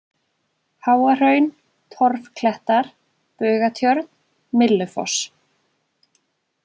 Háahraun, Torfklettar, Bugatjörn, Myllufoss